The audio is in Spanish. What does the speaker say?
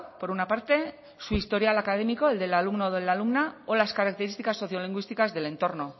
por una parte su historial académico el del alumno o de la alumna o las características sociolingüísticas del entorno